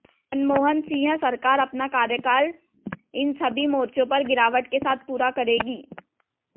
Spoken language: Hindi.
मनमोहन सिंह सरकार अपना कार्यकाल इन सभी मोर्चों पर गिरावट के साथ पूरा करेगी